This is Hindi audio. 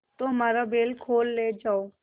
तो हमारा बैल खोल ले जाओ